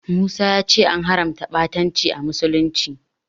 Musa ya ce an haramta ɓatanci a musulunci.